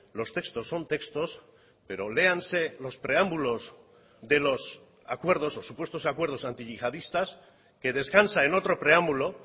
los textos son textos pero léanse los preámbulos de los acuerdos o supuestos acuerdos antiyihadistas que descansa en otro preámbulo